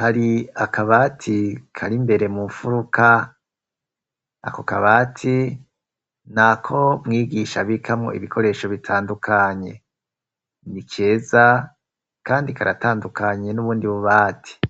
hari akabati kari imbere mu mfuruka, ako kabati nako mwigisha abikamwo ibikoresho bitandukanye. Ni keza kandi karatandukanye n'ubundi bubati.